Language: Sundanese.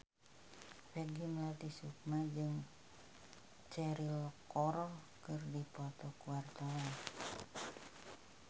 Peggy Melati Sukma jeung Cheryl Crow keur dipoto ku wartawan